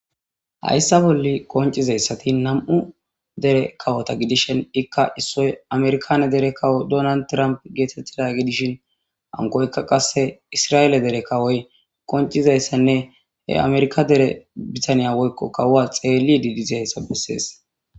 hayssa bolli qoncizayssati nam7u dere kawota gidishen ikka issoy amerkane dere kawo donan tramp geetettida gidishin ankoykka qasse isra7eele dere kawoy qoncizayssanne he amerika dere bitaniya woykko kawua xeeli didizayssa bessees